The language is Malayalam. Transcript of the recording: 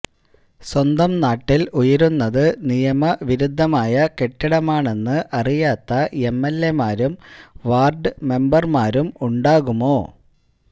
സ്വന്തം നാട്ടിൽ ഉയരുന്നത് നിയമവിരുദ്ധമായ കെട്ടിടമാണെന്ന് അറിയാത്ത എംഎൽഎമാരും വാർഡ് മെമ്പർ മാരും ഉണ്ടാകുമോ